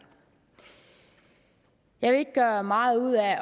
jeg vil ikke gøre meget ud af